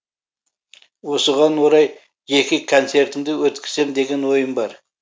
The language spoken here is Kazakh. осыған орай жеке концертімді өткізсем деген ойым бар